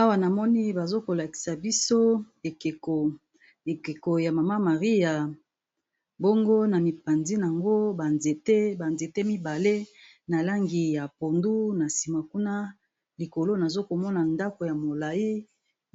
Awa namoni bazo ko lakisa biso ekeko, ekeko ya mama marie. Bongo na mipanzi nango ba nzete ba nzete mibale na langi ya pondu, na nsima kuna likolo nazo komona ndako ya molayi